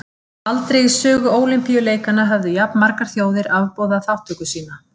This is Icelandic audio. Aldrei í sögu Ólympíuleikanna höfðu jafnmargar þjóðir afboðað þátttöku sína.